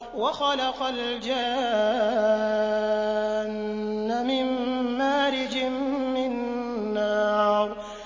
وَخَلَقَ الْجَانَّ مِن مَّارِجٍ مِّن نَّارٍ